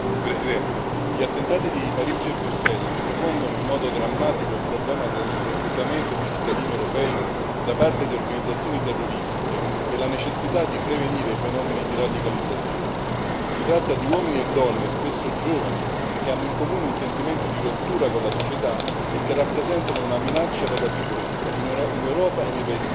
Signora Presidente, onorevoli colleghi, gli attentati di Parigi e Bruxelles ripropongono in modo drammatico il problema del reclutamento di cittadini europei da parte di organizzazioni terroristiche e la necessità di prevenire i fenomeni di radicalizzazione. Si tratta di uomini e donne, spesso giovani, che hanno in comune un sentimento di rottura con la società e che rappresentano una minaccia per la sicurezza, in Europa e nei paesi vicini.